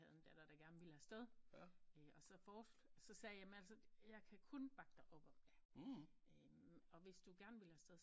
Havde en datter der gerne ville afsted og så forslog så sagde jeg at kan kun bakke dig op og hvis du gerne vil afsted